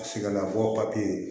Sigidala bɔ papiye